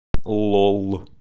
лол